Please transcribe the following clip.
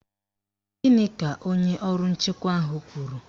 Gịnị ka onye ọrụ nchekwa ahụ kwuru?